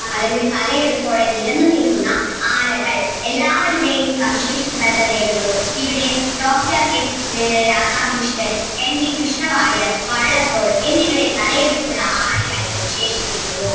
അല്ലെങ്കിൽ തലയെടുപ്പോടെ നിരന്നു നിൽക്കുന്ന ആനകൾ എല്ലാവരുടെയും ഇവിടെ ഡോക്ടർ എസ് ആഹ് രാധാകൃഷ്ണൻ, എൻ വി കൃഷ്ണവാര്യർ, വള്ളത്തോൾ എന്നിവരെ തലയെടുപ്പുള്ള ആനയായിട്ട് വിശേഷിപ്പിക്കുന്നു